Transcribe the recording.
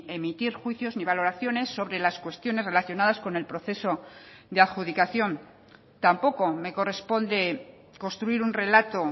emitir juicios ni valoraciones sobre las cuestiones relacionadas con el proceso de adjudicación tampoco me corresponde construir un relato